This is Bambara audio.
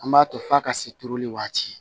An b'a to f'a ka se turuli waati